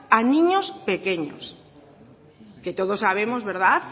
a niños pequeños que todos sabemos verdad